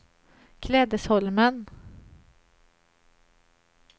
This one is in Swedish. Klädesholmen